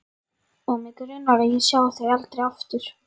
Og mig grunar að ég sjái þau aldrei aftur.